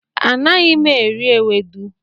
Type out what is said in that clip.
Anaghị m eri ewedu.